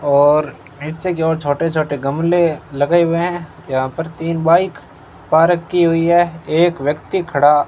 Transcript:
और नीचे की ओर छोटे छोटे गमले लगे हुए हैं यहां पर तीन बाइक पार्क की हुई है एक व्यक्ति खड़ा--